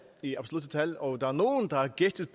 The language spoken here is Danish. i absolutte tal og der er nogle der har gættet